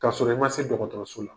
K'aa sɔrɔ i ma se dɔgɔtɔrɔso la